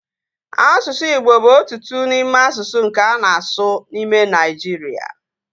Asụsụ Igbo bụ otu n'ime asụsụ nke a na-asụ n'ime Nigeria